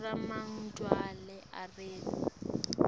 siremagedwla ageri